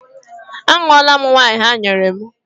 A ṅụọla m waịn ha nyere m.